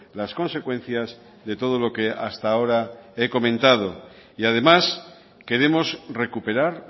las consecuencias de todo lo que hasta ahora he comentado y además queremos recuperar